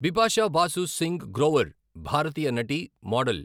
బిపాషా బాసు సింగ్ గ్రోవర్ భారతీయ నటి, మోడల్.